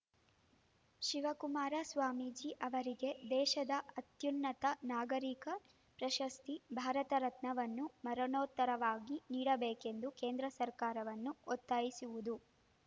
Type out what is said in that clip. ಶಿವಕುಮಾರ ಸ್ವಾಮೀಜಿ ಅವರಿಗೆ ದೇಶದ ಅತ್ಯುನ್ನತ ನಾಗರಿಕ ಪ್ರಶಸ್ತಿ ಭಾರತ ರತ್ನವನ್ನು ಮರಣೋತ್ತರವಾಗಿ ನೀಡಬೇಕೆಂದು ಕೇಂದ್ರ ಸರ್ಕಾರವನ್ನು ಒತ್ತಾಯಿಸುವುದು